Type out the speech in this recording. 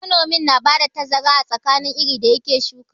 Manomin na ba da tazara a tsakanin irin da ya ke shukawa.